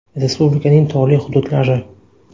Respublikaning tog‘li hududlari.